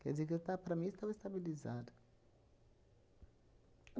Quer dizer que eu ta, para mim, estava estabilizado.